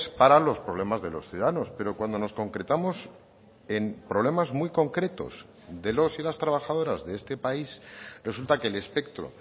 para los problemas de los ciudadanos pero cuando nos concretamos en problemas muy concretos de los y las trabajadoras de este país resulta que el espectro